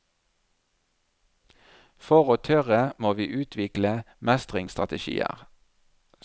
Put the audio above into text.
For å tørre må vi utvikle mestringsstrategier.